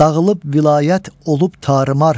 Dağılıb vilayət, olub tarımar.